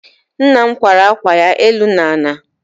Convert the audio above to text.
Nna m kwara akwa ya, enu na ala